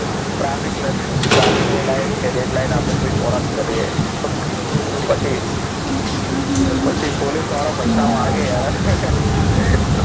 traffic લે ટ્રાફિકની light કે રેડ લાઈટ આપણે કોઈ કોષ કરીએ તો પછી પછી પોલીસવાળો પૈસા માગે અને